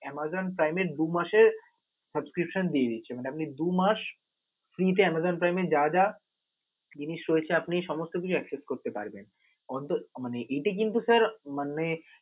Amazon চাইলে দু- মাসে subscription দিয়ে দিচ্ছে, মানে আপনি দু মাস free তে Amazon Prime এ আপনি যা যা জিনিস রয়েছে, আপনি সমস্ত কিছু accept করতে পারবেন. অন্ত মানে এটা কিন্তু sir মানে